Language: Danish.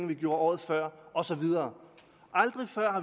vi gjorde året før og så videre